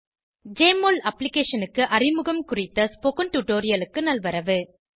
JMOL அப்ளிகேஷனுக்கு அறிமுகம்குறித்த spoken டுடோரியலுக்கு நல்வரவு